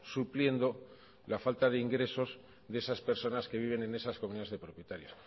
supliendo la falta de ingresos de esas personas que viven en esas comunidades de propietarios